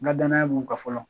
N ga danaya b'u kan fɔlɔ